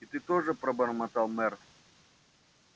и ты тоже пробормотал мэр